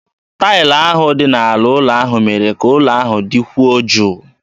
Taịlị ahụ dị n'ala ụlọ ahụ mere ka ụlọ ahụ dịkwuo jụụ.